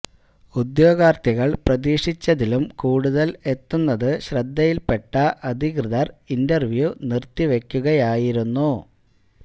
ഉദ്യോഗാര്ത്ഥികള് പ്രതീക്ഷിച്ചതിലും കൂടുതല് എത്തുന്നത് ശ്രദ്ധയില് പെട്ട അധികൃതര് ഇന്റര്വ്യൂ നിര്ത്തിവയ്ക്കുകയായിരുന്നു